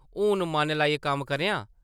हून मन लाइयै कम्म करेआं ।